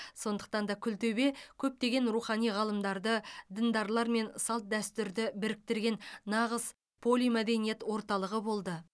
сондықтан да күлтөбе көптеген рухани ғалымдарды діндарлар мен салт дәстүрді біріктірген нағыз полимәдениет орталығы болды